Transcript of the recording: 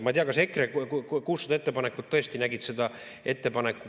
Ma ei tea, kas EKRE 600 ettepanekut tõesti nägid seda ette.